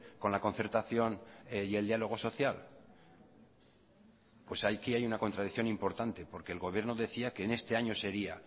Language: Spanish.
con la concertación y el diálogo social pues aquí hay una contradicción importante porque el gobierno decía que en este año sería